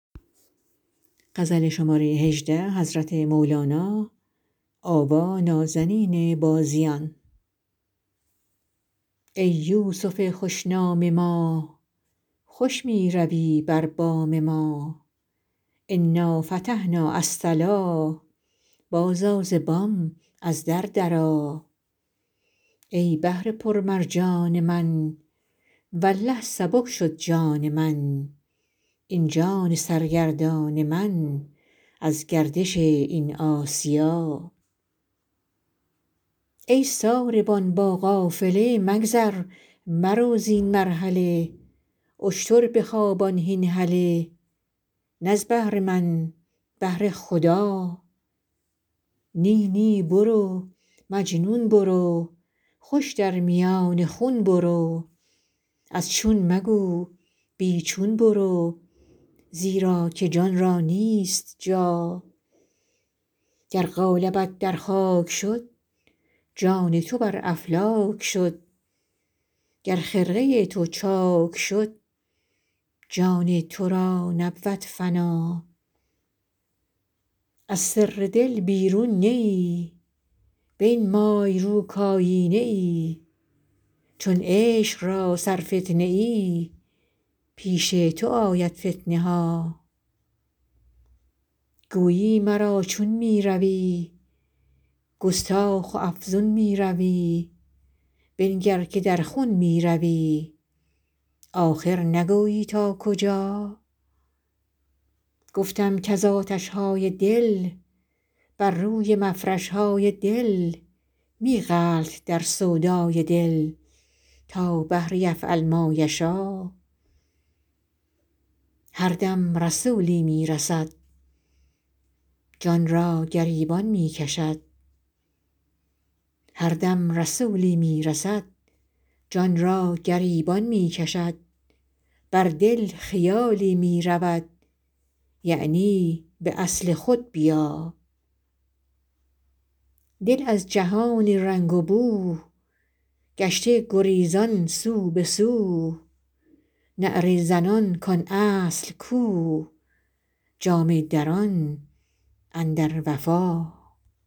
ای یوسف خوش نام ما خوش می روی بر بام ما انا فتحنا الصلا بازآ ز بام از در درآ ای بحر پرمرجان من والله سبک شد جان من این جان سرگردان من از گردش این آسیا ای ساربان با قافله مگذر مرو زین مرحله اشتر بخوابان هین هله نه از بهر من بهر خدا نی نی برو مجنون برو خوش در میان خون برو از چون مگو بی چون برو زیرا که جان را نیست جا گر قالبت در خاک شد جان تو بر افلاک شد گر خرقه تو چاک شد جان تو را نبود فنا از سر دل بیرون نه ای بنمای رو کایینه ای چون عشق را سرفتنه ای پیش تو آید فتنه ها گویی مرا چون می روی گستاخ و افزون می روی بنگر که در خون می روی آخر نگویی تا کجا گفتم کز آتش های دل بر روی مفرش های دل می غلط در سودای دل تا بحر یفعل ما یشا هر دم رسولی می رسد جان را گریبان می کشد بر دل خیالی می دود یعنی به اصل خود بیا دل از جهان رنگ و بو گشته گریزان سو به سو نعره زنان کان اصل کو جامه دران اندر وفا